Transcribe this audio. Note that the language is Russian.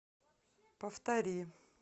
повтори